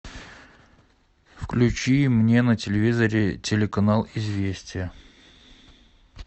включи мне на телевизоре телеканал известия